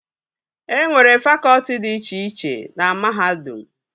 E nwere fakọtị dị iche iche na mahadum